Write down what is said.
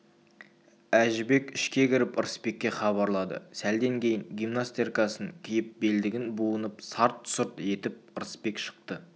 әжібек ішке кіріп ырысбекке хабарлады сәлден кейін гимнастеркасын киіп белдігін буынып сарт-сұрт етіп ырысбек шықты